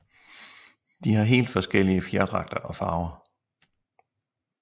De har helt forskellige fjerdragter og farver